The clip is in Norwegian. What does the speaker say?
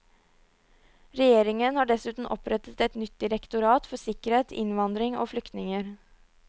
Regjeringen har dessuten opprettet et nytt direktorat for sikkerhet, innvandring og flyktninger.